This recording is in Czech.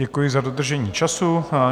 Děkuji za dodržení času.